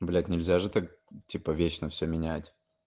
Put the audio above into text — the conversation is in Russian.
блять нельзя же так типа вечно все менять